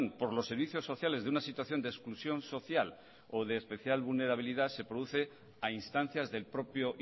por los servicios sociales de una situación de exclusión social o de especial vulnerabilidad se produce a instancias del propio